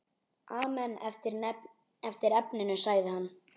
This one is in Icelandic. Amen eftir efninu sagði hann.